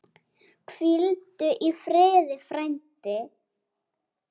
Hvíldu í friði, frændi.